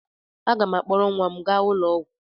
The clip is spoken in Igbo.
Aga m akpọrọ nwa m gaa ụlọ ọgwụ.